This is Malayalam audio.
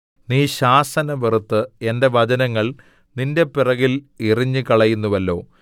നീ ശാസന വെറുത്ത് എന്റെ വചനങ്ങൾ നിന്റെ പിറകിൽ എറിഞ്ഞുകളയുന്നുവല്ലോ